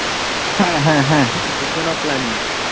হ্যাঁ হ্যাঁ হ্যাঁ Regional planning